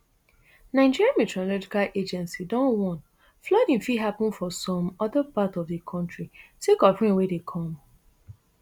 nigeria meteorological agency don warn flooding fit happun for some oda part of di kontri sake of rain wey dey come